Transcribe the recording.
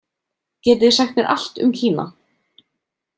Getið þið sagt mér allt um Kína.